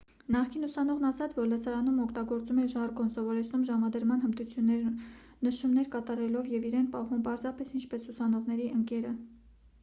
նախկին ուսանողն ասաց որ լսարանում օգտագործում էր ժարգոն սովորեցնում ժամադրման հմտություններ նշումներ կատարելով և իրեն պահում պարզապես ինչպես ուսանողների ընկերը